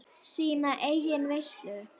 Sína eigin veislu.